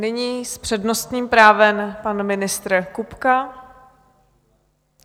Nyní s přednostním právem pan ministr Kupka.